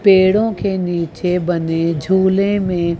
पेड़ों के नीचे बने झूले में--